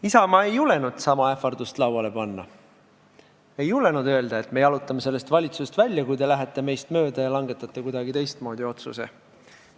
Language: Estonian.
Isamaa ei julgenud sama ähvardust lauale panna, ei julgenud öelda, et me jalutame sellest valitsusest välja, kui te lähete meist mööda ja langetate kuidagi teistmoodi otsuse.